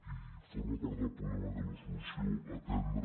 i forma part del problema i de la solució atendre